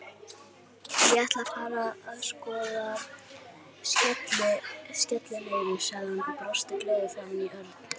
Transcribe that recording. Ég ætla að fara að skoða skellinöðru, sagði hann og brosti gleiður framan í Örn.